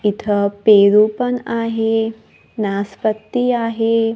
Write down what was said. इथं पेरू पण आहे नासपत्ती आहे.